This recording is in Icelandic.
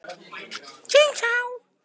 Náttúrufræði og hulduheimar